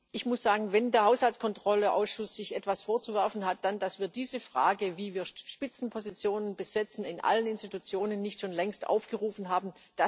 Ich muss sagen, wenn der Haushaltskontrollausschuss sich etwas vorzuwerfen hat, dann dass wir diese Frage wie wir Spitzenpositionen besetzen in allen Institutionen nicht schon längst aufgerufen haben.